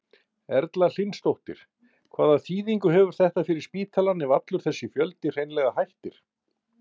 Erla Hlynsdóttir: Hvaða þýðingu hefur þetta fyrir spítalann ef allur þessi fjöldi hreinlega hættir?